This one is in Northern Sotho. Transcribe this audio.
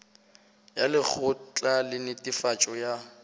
ya lekgotla la netefatšo ya